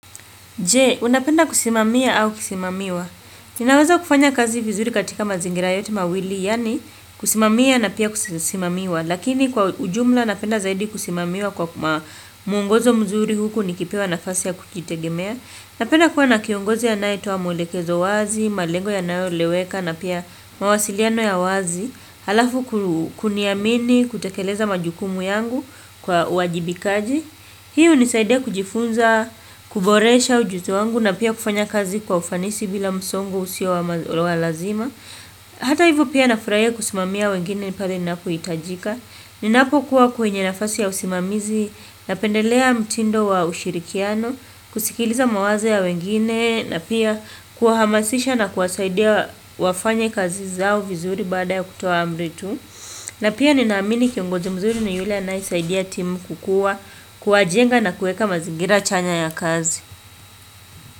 J, unapenda kusimamiwa au kusimamia? Tunaweza kufanya kazi vizuri katika mazingira yote mawili, yani kusimamiwa na pia kusimamia. Lakini kwa ujumla napenda zaidi kusimamiwa kwa muongozo mzuri huku nikipewa na fasi ya kujitegemea. Napenda kuwa na kiongozi anaetoa muelekezo wazi, malengo ya nayo eleweka na pia mawasiliano ya wazi. Halafu kuniamini kutekeleza majukumu yangu kwa wajibikaji. Hii uni saidia kujifunza, kuboresha ujuzi wangu na pia kufanya kazi kwa ufanisi bila msongo usio wa lazima. Hata hivyo pia nafraia kusimamia wengine ni pale ni napo itajika. Ni napo kuwa kwenye nafasi ya usimamizi napendelea mtindo wa ushirikiano, kusikiliza mawazo ya wengine na pia kuwahamasisha na kuwasaidia wafanye kazi zao vizuri baada ya kutoa amritu. Na pia ninaamini kiongozi mzuri ni yule anae saidia Team kukua, kuwajenga na kuweka mazigira chanya ya kazi.